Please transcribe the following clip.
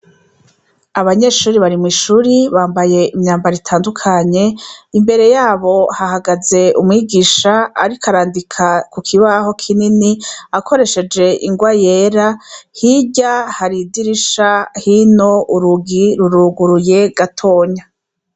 Abanyeshuri bari mw'ishuri bambaye imyambaro itandukanye imbere yabo hahagaze umwigisha ariko arandika ku kibaho kinini akoresheje ingwa yera hirya hari idirisha hino urugi ruruguruye gatoya.